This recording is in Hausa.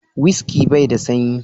"Whisky " bai da sanyi.